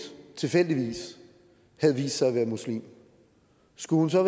tilfældigvis havde vist sig at være muslim skulle hun så